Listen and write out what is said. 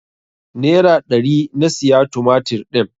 Nera ɗari na siya tumatir din.